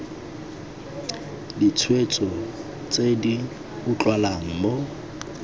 ditshwetso tse di utlwalang mo